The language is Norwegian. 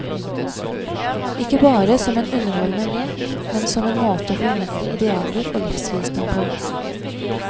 Ikke bare som en underholdende lek, men som en måte å formidle idealer og livsvisdom på.